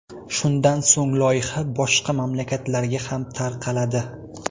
Shundan so‘ng loyiha boshqa mamlakatlarga ham tarqaladi.